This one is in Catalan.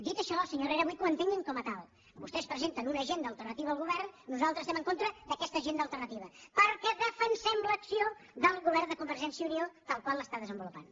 dit això senyor herrera vull que ho entenguin com a tal vostès presenten una agenda alternativa al govern nosaltres estem en contra d’aquesta agenda alternativa perquè defensem l’acció del govern de convergència i unió tal com l’està desenvolupant